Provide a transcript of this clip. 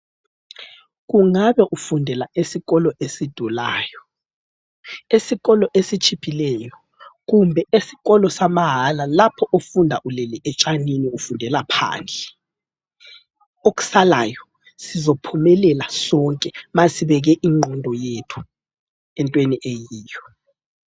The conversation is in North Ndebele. Ungabe ufundela esikolo esidulayo, esikolo esitshiphileyo, kumbe esikolo samahala lapho ofunda ulele etshanini ufundela phandle. okusalayo sizophumelela sonke nxa sibeke ingqondo yethu entweni eyiyo.